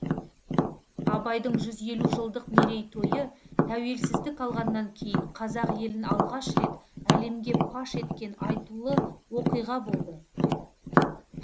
абайдың жүз елу жылдық мерейтойы тәуелсіздік алғаннан кейін қазақ елін алғаш рет әлемге паш еткен айтулы оқиға болды